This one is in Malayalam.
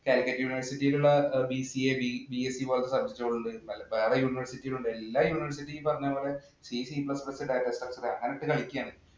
Calicut university യിലുള്ള BCABSC പോലുള്ള subject ഉകളുണ്ട്. വേറെ university യിലുണ്ട്. എല്ലാ university ഈം ഈ പറഞ്ഞ പോലെ അങ്ങനെയിട്ടു കളിക്കുകയാണ്.